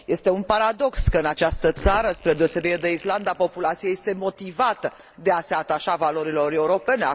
Este un paradox că, în această țară, spre deosebire de Islanda, populația este motivată să se atașeze valorilor europene.